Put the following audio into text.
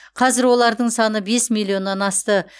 қазір олардың саны бес миллионнан асты